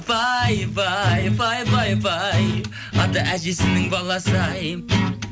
пай пай пай пай пай ата әжесінің баласы ай